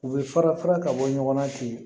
U bɛ fara fara ka bɔ ɲɔgɔn na ten